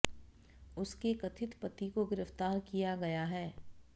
उसके कथित पति को गिरफ्तार किया गया है